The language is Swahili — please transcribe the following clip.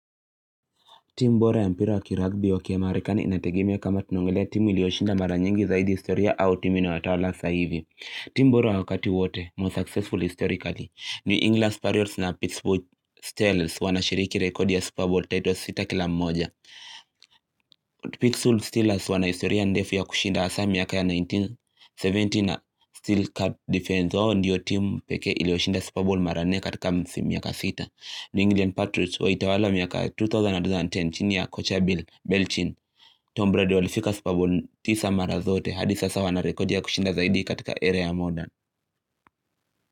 Timu bora ya mpira wa kiragbi wa kiamarikani inategemea kama tunongelea timu iliyoshinda mara nyingi zaidi historia au timu inatawala saa hivi. Timu bora wa wakati wote ma successful historically ni England Sparriots na Pittsburgh Steelers wanashiriki rekodi ya Super Bowl titles sita kila mmoja. Pittsburgh Steelers wana historia ndefu ya kushinda hasa miaka ya 1970 na Steel Card Defense. Wao ndiyo timu pekee iliyoshinda Super Bowl mara nne katika msimu ya miaka sita. Ni England Patriots waitawala miaka 2010 chini ya Coacha Bill Belchin Tom Brady walifika Super Bowl tisa mara zote hadi sasa wana record ya kushinda zaidi katika area modern.